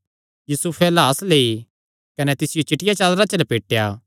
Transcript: यूसुफैं लाह्स लेई कने तिसियो चिट्टिया चादरा च लपेटया